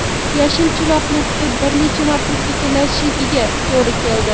Yashil chiroqni kutib bir necha martagina sekinlashishiga to‘g‘ri keldi.